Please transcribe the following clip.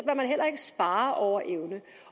man heller ikke spare over evne